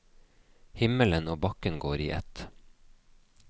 Himmelen og bakken går i ett.